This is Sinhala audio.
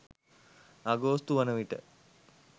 අගෝස්තු වන විට